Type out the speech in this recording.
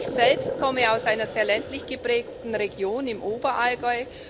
Ich selbst komme aus einer sehr ländlich geprägten Region im Oberallgäu